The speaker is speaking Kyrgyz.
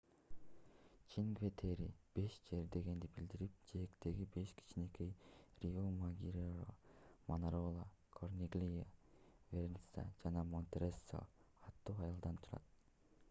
чинкве-терре беш жер дегенди билдирип жээктеги беш кичинекей риомаггиоре манарола корниглия верназца жана монтероссо аттуу айылдан турат